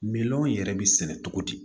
Miliyɔn yɛrɛ bɛ sɛnɛ cogo di